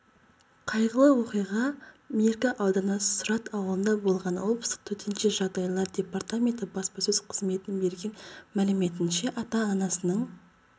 қайғылы оқиға меркі ауданы сұрат ауылында болған облыстық төтенше жағдайлар департаменті баспасөз қызметінің берген мәліметінше ата-анасының